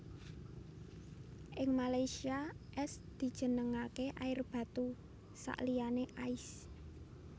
Ing Malaysia es dijenengake air batu sakliyané ais